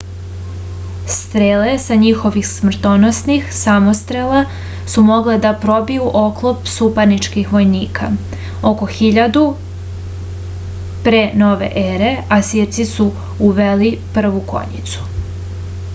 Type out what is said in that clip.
strele sa njihovih smrtonosnih samostrela su mogle da probiju oklop suparničkih vojnika oko 1000. p n e asirci su uveli prvu konjicu